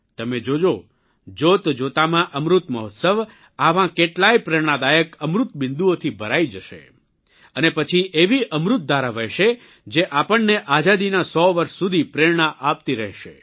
તમે જોજો જોતજોતામાં અમૃત મહોત્સવ આવાં કેટલાંય પ્રેરણાદાયક અમૃતબિંદુઓથી ભરાઇ જશે અને પછી એવી અમૃતધારા વહેશે જે આપણને આઝાદીનાં સો વર્ષ સુધી પ્રેરણા આપતી રહેશે